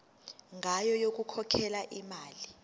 ngayo yokukhokhela imali